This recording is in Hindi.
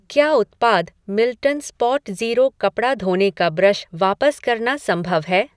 क्या उत्पाद मिल्टन स्पॉटज़ीरो कपड़ा धोने का ब्रश वापस करना संभव है?